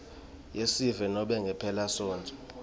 yesive nobe ngemphelasontfo